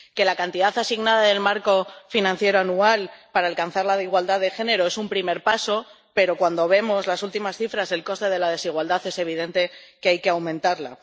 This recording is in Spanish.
La cantidad asignada del marco financiero anual para alcanzar la igualdad de género es un primer paso, pero cuando vemos las últimas cifras del coste de la desigualdad es evidente que hay que aumentarla.